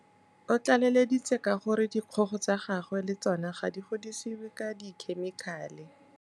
O tlaleleditse ka gore dikgogo tsa gagwe le tsona ga di godisiwe ka dikhemikhale